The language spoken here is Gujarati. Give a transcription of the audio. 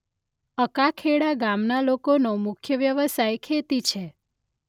અકાખેડા ગામના લોકોનો મુખ્ય વ્યવસાય ખેતી છે.